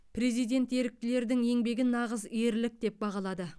президент еріктілердің еңбегін нағыз ерлік деп бағалады